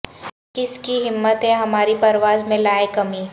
کس کی ہمت ہے ہماری پرواز میں لائے کمی